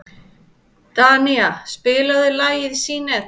Danía, spilaðu lagið „Syneta“.